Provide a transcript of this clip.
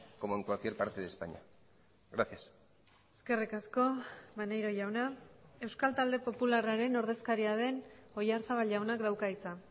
como en cualquier parte de españa gracias eskerrik asko maneiro jauna euskal talde popularraren ordezkaria den oyarzabal jaunak dauka hitza